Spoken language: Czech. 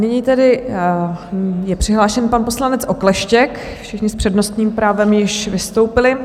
Nyní tedy je přihlášen pan poslanec Okleštěk, všichni s přednostním právem již vystoupili.